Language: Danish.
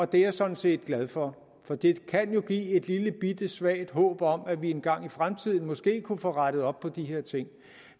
det er jeg sådan set glad for for det kan jo give et lillebitte svagt håb om at vi engang i fremtiden måske kunne få rettet op på de her ting